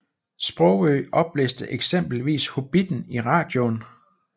Sprogøe oplæste eksempelvis Hobbitten i radioen